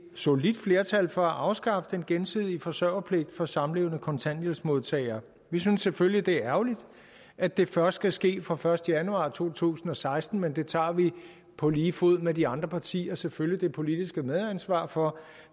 solidt flertal for at afskaffe den gensidige forsørgerpligt for samlevende kontanthjælpsmodtagere vi synes selvfølgelig at det er ærgerligt at det først skal ske fra første januar to tusind og seksten men det tager vi på lige fod med de andre partier selvfølgelig det politiske medansvar for